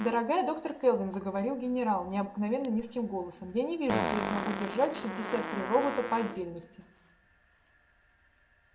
дорогая доктор кэлвин заговорил генерал необыкновенно низким голосом я не вижу где я смогу держать шестьдесят три робота по отдельности